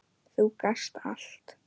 Þú gast allt.